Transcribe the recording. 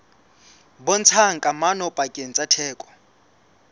bontshang kamano pakeng tsa theko